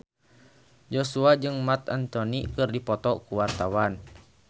Joshua jeung Marc Anthony keur dipoto ku wartawan